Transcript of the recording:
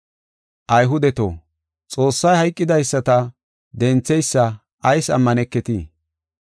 Ayhudeto, Xoossay hayqidaysata dentheysa ayis ammaneketii?